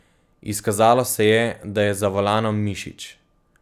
Izkazalo se je, da je za volanom Mišič.